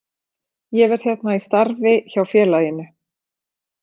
Ég verð hérna í starfi hjá félaginu.